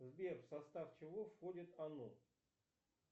сбер в состав чего входит оно